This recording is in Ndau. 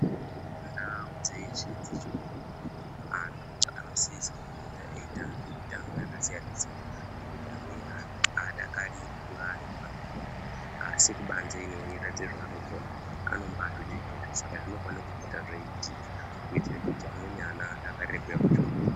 Ndau dzeshe dzechikora, antu anosise kupota eitambe mitambo yakasiyana-siyana ngekuti amweni haadakariri kunga ari mumazvikora umu, asi kubanze ino eiratidze zvaanokona. Anombaazvide zvirozvo, saka zvinofane kupota zveiitika. Kuitira kuti amweni ana adakarire kuuya kuchikoro.